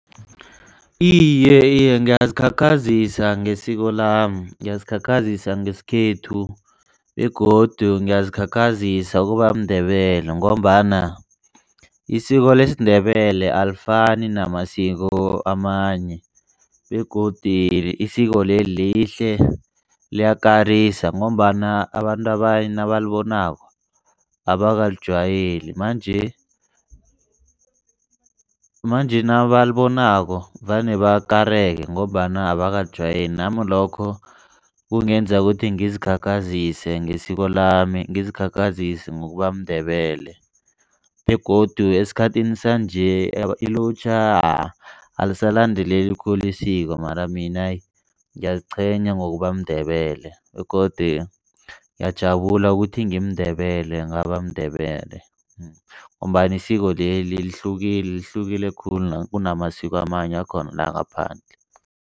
Iye, iye ngiyazikhakhazisa ngesiko lami, ngiyazikhakhazisa ngesikhethu begodu ngiyazikhakhazisa ukuba mNdebele, ngombana isiko lesiNdebele alifani namasiko amanye begodi isiko libe lihle liyakarisa ngombana abantu abanye nabalibonako abakalijwayeli manje manje nabalibonako vane bakareke ngombana abakalijwayeli. Nami lokho kungenza ukuthi ngizikhakhazise ngesiko lami, ngizikhakhazisa ngokuba mNdebele begodu esikhathini sanje ilutjha alisalandeleli khulu isiko. Mara mina ngiyaziqhenya ngokuba mNdebele begodu nguyajabula ukuthi ngimi Ndebele, ngaba mNdebele ngombana isiko leli lihlukile. Lihlukile khulu kunamasiko amanye akhona langaphandle.